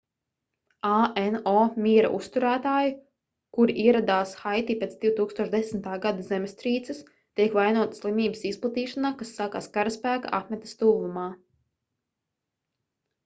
ano miera uzturētāji kuri ieradās haiti pēc 2010. gada zemestrīces tiek vainoti slimības izplatīšanā kas sākās karaspēka apmetnes tuvumā